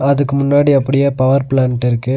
அதுக்கு முன்னாடி அப்புடியே பவர் பிளான்ட் இருக்கு.